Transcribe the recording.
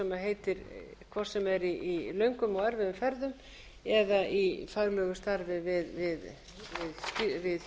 nefndina hvort sem er í löngum og erfiðum ferðum